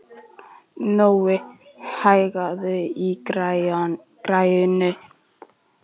Nói, hækkaðu í græjunum.